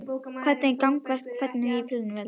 Hvernig ganga framkvæmdirnar á Fjölnisvelli?